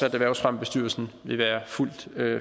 at erhvervsfremmebestyrelsen vil være fuldt